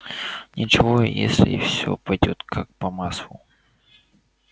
ничего если все пойдёт как по маслу часа через два-три малфоя ждёт заслуженное возмездие